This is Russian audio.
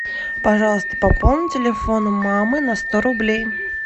пожалуйста пополни телефон мамы на сто рублей